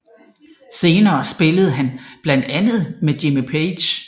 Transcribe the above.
Senere spillede han blandt andre med Jimmy Page